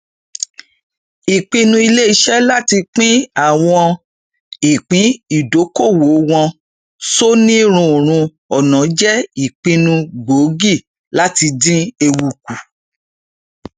ìpinnu iléiṣẹ láti pín àwọn ìpín ìdókolòwò wọn sónírúurú ọnà jẹ ìpinnu gbóògì láti dín ewu kù